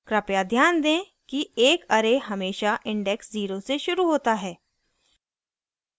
कृपया ध्यान दें कि एक array हमेशा index zero से शुरू होता है